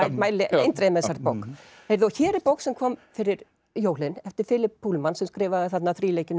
mæli eindregið með þessari bók hér er bók sem kom fyrir jólin eftir Philip Pullman sem skrifaði þarna